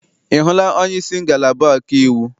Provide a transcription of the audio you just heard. Ị hụla onyeisi ngalaba ọkaiwu?